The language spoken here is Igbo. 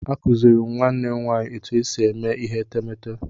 M kụziiri nwanne m nwaanyị otú e si eme ihe etemeete.